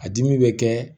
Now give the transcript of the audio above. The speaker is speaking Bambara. A dimi bɛ kɛ